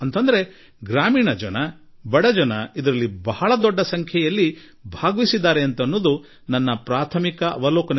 ಅಂದರೆ ಇದರ ಅರ್ಥ ಗ್ರಾಮೀಣ ಜೀವನದೊಂದಿಗೆ ನಂಟು ಹೊಂದಿರುವ ಬಡತನದೊಡನೆ ನಂಟು ಹೊಂದಿರುವ ಜನರ ಅತಿ ದೊಡ್ಡ ಕ್ರಿಯಾಶೀಲ ಪಾಲ್ಗೊಳ್ಳುವಿಕೆ ಇದರಲ್ಲಿತ್ತು